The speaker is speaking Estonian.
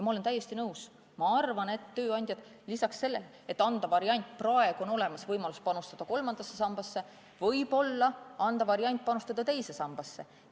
Ma olen täiesti nõus, ma arvan, et kui praegu on olemas võimalus panustada kolmandasse sambasse, siis võib-olla võiks anda variandi panustada ka teise sambasse.